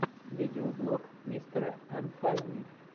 видеоблог мистера анфайни